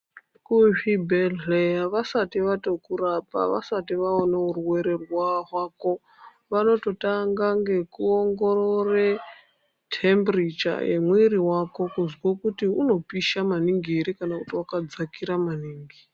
Kuzvibhedhlera vasati vatokurapa vasati vaone urwere hwako vanototanga nekuongorora temburicha yemwiri wako kunzwa kuti unopisha maningi here kana kuti wakadzakira maningi.